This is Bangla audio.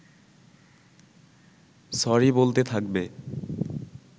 সরি বলতে থাকবে